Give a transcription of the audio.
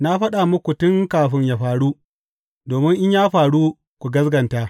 Na faɗa muku tun kafin yă faru, domin in ya faru, ku gaskata.